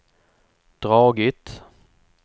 dragit